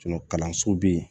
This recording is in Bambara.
kalanso be yen